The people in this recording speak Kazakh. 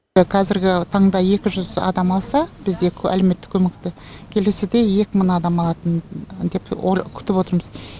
қазіргі таңда екі жүз адам алса бізде әлеуметтік көмекті келесіде екі мың адам алатын деп күтіп отырмыз